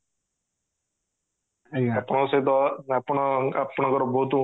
ଆପଣଙ୍କ ସହିତ ଆପଣ ଆପଣ ଙ୍କର ବହୁତ